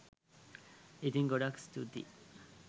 ඉතින් ගොඩාක් ස්තූතියි